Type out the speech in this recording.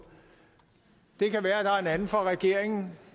det kan være der er en anden fra regeringen